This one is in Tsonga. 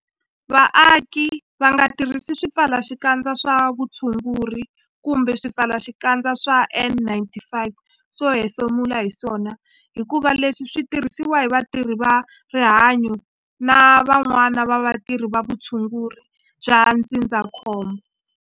Vaaki va nga tirhisi swipfalaxikandza swa vutshunguri kumbe swipfalaxikandza swa N-95 swo hefemula hi swona hikuva leswi swi tirhisiwa hi vatirhi va rihanyo na van'wana vatirhi va vutshunguri bya ndzindzakhombo.